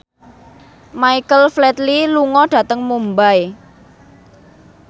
Michael Flatley lunga dhateng Mumbai